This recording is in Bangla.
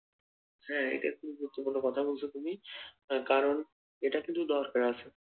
হ্যাঁ এটা কিন্তু যুক্তিপূর্ণ কথা বলছো তুমি কারণ এটা কিন্তু দরকার,